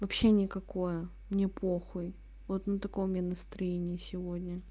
вообще никакое мне похуй вот на таком я настроении сегодня